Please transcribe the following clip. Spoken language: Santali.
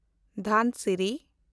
ᱫᱷᱟᱱᱥᱤᱨᱤ